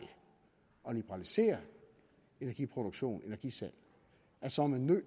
at liberalisere energiproduktion energisalg så er man nødt